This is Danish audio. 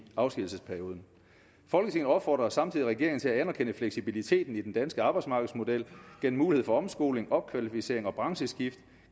afskedigelsesperioden folketinget opfordrer samtidig regeringen til at anerkende fleksibiliteten i den danske arbejdsmarkedsmodel gennem mulighed for omskoling opkvalificering og brancheskift